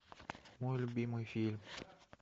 мой любимый фильм